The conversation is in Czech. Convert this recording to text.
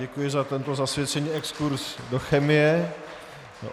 Děkuji za tento zasvěcený exkurz do chemie.